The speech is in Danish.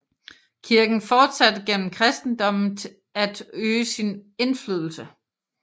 Kirken fortsatte gennem kristendommen at øge sin indflydelse